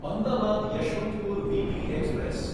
Ahmedabad Yesvantpur weekly express